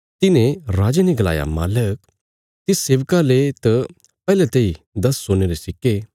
तिन्हे राजे ने गलाया मालक तिस सेवका ले त पैहले तेई दस सोने रे सिक्के